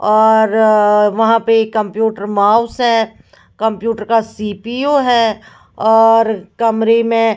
औओ रअ वहाँ पे कंप्यूटर माउस है कंप्यूटर का सी_पी_यू है और कमरे में --